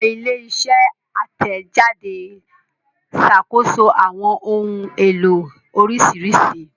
Awọn ile-iṣẹ atẹjade ṣakoso awọn ohun elo oriṣiriṣi